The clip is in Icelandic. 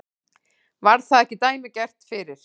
Var það ekki dæmigert fyrir